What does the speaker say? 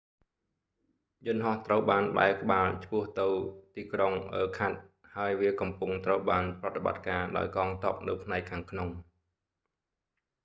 យន្តហោះត្រូវបានបែរក្បាលឆ្ពោះទៅតីក្រុងអឺខាត់ស៍ irkutsk ហើយវាកំពុងត្រូវបានប្រតិបត្តិការដោយកងទ័ពនៅផ្នែកខាងក្នុង